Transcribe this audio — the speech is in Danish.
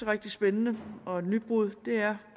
rigtig spændende og et nybrud er